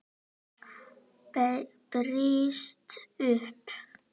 Brýst um.